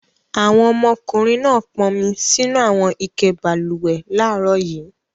Àwọn ọmọkùnrin náà pọnmi sínú àwọn ike balùwẹ̀ láàárọ̀ yìí.